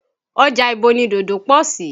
Ọjà ibo ni dòdò pọ̀ sí?